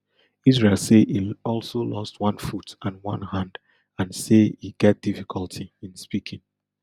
israel say e also lost one foot and one hand and say e get difficulty in speaking